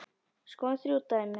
Skoðum þrjú dæmi